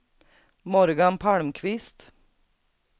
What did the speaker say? Morgan Palmqvist